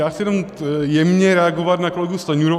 Já chci jenom jemně reagovat na kolegu Stanjuru.